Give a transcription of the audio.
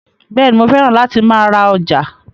Bẹ́ẹ̀ni, mo fẹ́ràn láti máa ra ọjà